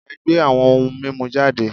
E̩gbé awo̩n oun mimu jade